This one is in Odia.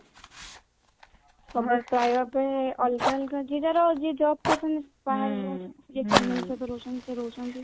ପାଇବା ପାଇଁ ଅଲଗା ଅଲଗା ଜିଲ୍ଲାର ଯିଏ ଜବ କରୁଛନ୍ତି ଯେ family ସହ ରହୁଛନ୍ତି ସେ ରହୁଛନ୍ତି